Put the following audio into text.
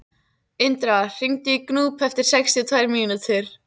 Indra, hringdu í Gnúp eftir sextíu og tvær mínútur.